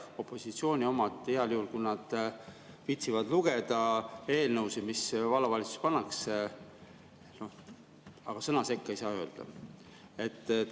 Opositsiooni omad heal juhul viitsivad lugeda eelnõusid, mis vallavalitsuses pannakse, aga sõna sekka ei saa öelda.